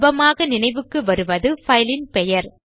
சுலபமாக நினைவுக்கு வருவது பைல் இன் பெயர்